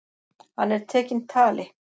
Hann er tekinn tali.